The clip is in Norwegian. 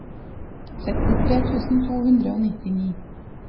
sekstitre tusen to hundre og nittini